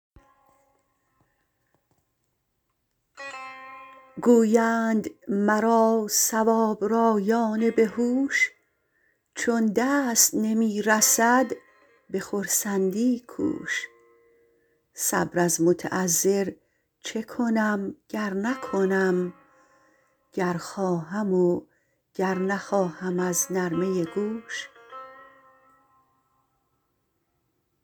گویند مرا صوابرایان به هوش چون دست نمی رسد به خرسندی کوش صبر از متعذر چه کنم گر نکنم گر خواهم و گر نخواهم از نرمه گوش